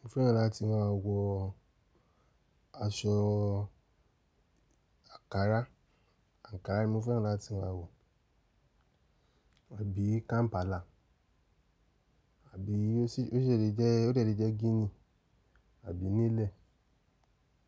Mo fẹ́ràn láti máa wọ aṣọ àkàrà, àǹkárá ni mo fẹ́ràn láti máa wọ, àbí Kampala àbí ó ṣèdí jẹ́, ó dẹ́lẹ̀ jẹ́ gínì àbí nílẹ̀.